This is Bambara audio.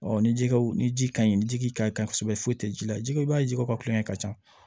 ni jiw ni ji ka ɲi ni ji ka ɲi kosɛbɛ foyi tɛ ji la jiko i b'a jiw ka kulonkɛ ka ca